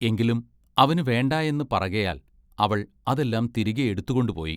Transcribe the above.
എങ്കിലും അവന് വേണ്ടായെന്ന് പറകയാൽ അവൾ അതെല്ലാം തിരികെയെടുത്തുകൊണ്ടുപോയി.